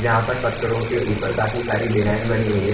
जहाँ पर पत्थरों के ऊपर काफी सारी डिजाइन बनी हुई है।